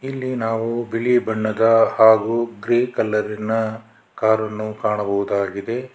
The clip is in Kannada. ಇಲ್ಲಿ ನಾವು ಬಿಳಿ ಬಣ್ಣದ ಹಾಗೂ ಗ್ರೇ ಕಲರಿನ ಕಾರನ್ನು ಕಾಣಬಹುದಾಗಿದೆ.